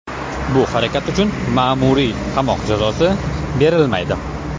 Bu harakat uchun ma’muriy qamoq jazosi berilmaydi.